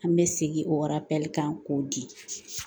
An bɛ segin o kan k'o di